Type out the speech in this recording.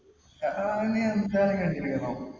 ഇരുന്നോ?